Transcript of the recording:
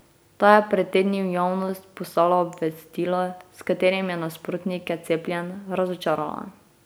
Ta je pred tedni v javnost poslala obvestilo, s katerim je nasprotnike cepljenj razočarala.